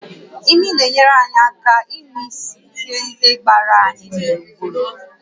Imi na-enyere anyị aka ịnụ ísì ihe ndị gbara anyị gburugburu